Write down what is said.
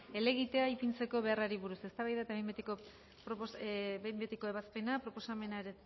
helegitea ipintzeko beharrari buruz eztabaida eta behin betiko ebazpena proposamena